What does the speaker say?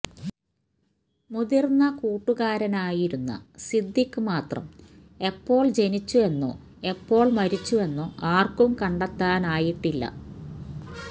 മുതിര്ന്ന കൂട്ടുകാരനായിരുന്ന സിദ്ദിഖ് മാത്രം എപ്പോള് ജനിച്ചു എന്നോ എപ്പോള് മരിച്ചു എന്നോ ആര്ക്കും കണ്ടെത്താനായിട്ടില്ല